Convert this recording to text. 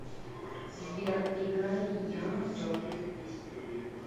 сбер играй янг джок